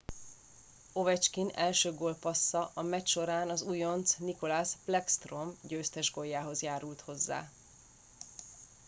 ovechkin első gólpassza a meccs során az újonc nicklas backstrom győztes góljához járult hozzá